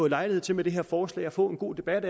lejlighed til med det her forslag at få en god debat